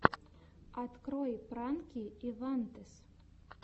открой пранки ивантез